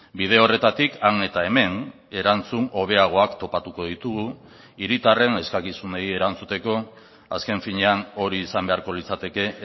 bide horretatik han eta hemen erantzun hobeagoak topatuko ditugu hiritarren eskakizunei erantzuteko azken finean hori izan beharko litzateke